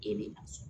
E bɛ